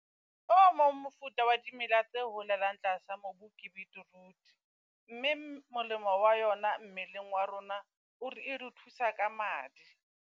O mong mofuta wa dimela tse holelang tlasa mobu ke beetroot, mme molemo wa yona mmeleng wa rona, o re e re o thusa ka madi.